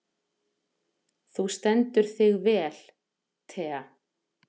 Þú stendur þig vel, Thea!